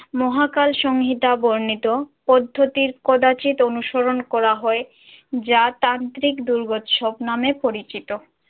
মহাকাল সংহিতা বর্ণিত পদ্ধতির কদাচিৎ অনুসরণ করা হয় যা তান্ত্রিক দুর্গোৎসব নামে পরিচিত।